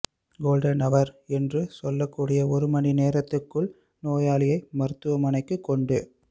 golden அவர் என்று சொல்லக்கூடிய ஒரு மணி நேரத்துக்குள் நோயாளியை மருத்துவமனைக்குக் கொண்டு